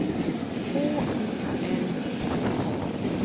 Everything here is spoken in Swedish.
H I L D A